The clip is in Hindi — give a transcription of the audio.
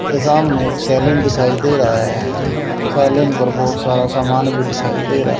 ये सामने एक सैलून दिखाई दे रहा है सैलून पर बहुत सारा समान भी दिखाई दे रहा--